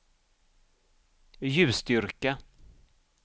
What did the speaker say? ljusstyrka